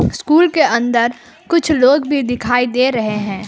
School के अंदर कुछ लोग भी दिखाई दे रहे हैं।